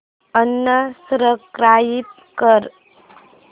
unsubscribe कर